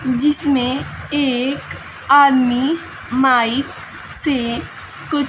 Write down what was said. जिसमें एक आदमी माइक से कु--